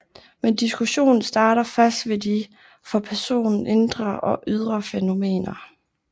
Men diskussionen starter først ved de for personen indre og ydre fænomener